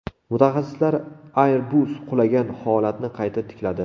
Mutaxassislar Airbus qulagan holatni qayta tikladi .